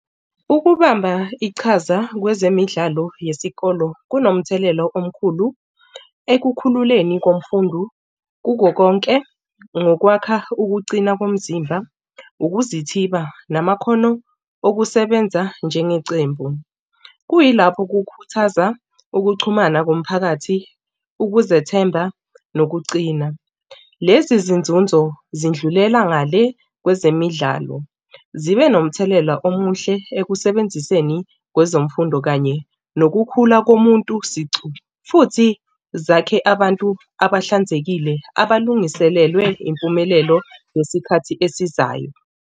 Ukubamba ichaza kwezemidlalo yesikolo kunomthelela omkhulu ekukhululeni komfundi kuko konke ngokwakha ukucina komzimba, ukuzithiba namakhono okusebenza njengecembu, kuyilapho kukhuthaza ukuxhumana komphakathi ukuzethemba nokucina. Lezi zinzunzo zindlulela ngale kwezemidlalo zibe nomthelela omuhle ekusebenziseni kwezemfundo kanye nokukhula komuntu sicu futhi zakhe abantu abahlanzekile abalungiselelwe impumelelo ngesikhathi esizayo.